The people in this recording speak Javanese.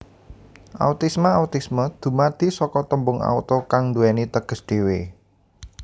Autisma Autisme dumadi saka tembung auto kang duwèni teges dhéwé